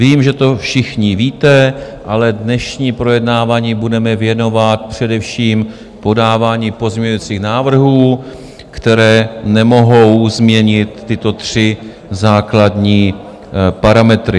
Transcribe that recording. Vím, že to všichni víte, ale dnešní projednávání budeme věnovat především podávání pozměňovacích návrhů, které nemohou změnit tyto tři základní parametry.